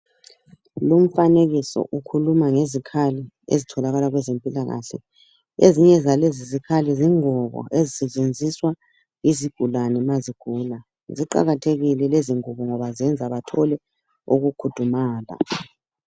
Lumfanekiso ukhuluma ngezikhali ezitholakala kwezempilakahle ezinye zalezi zikhali zingubo ezisetshenziswa yizigulane ma zigula ziqakathekile lezi ngubo ngoba zenza bathole ukukhudumala.